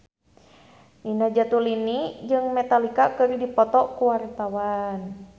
Nina Zatulini jeung Metallica keur dipoto ku wartawan